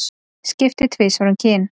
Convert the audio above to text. Skipti tvisvar um kyn